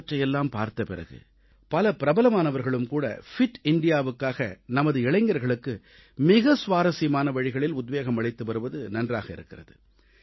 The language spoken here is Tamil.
இவற்றையெல்லாம் பார்த்த பிறகு பல பிரபலமானவர்களும்கூட ஃபிட் இந்தியாவுக்காக நமது இளைஞர்களுக்கு மிக சுவாரசியமான வழிகளில் உத்வேகம் அளித்து வருவது நன்றாக இருக்கிறது